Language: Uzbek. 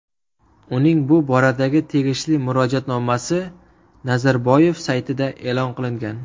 Uning bu boradagi tegishli murojaatnomasi Nazarboyev saytida e’lon qilingan .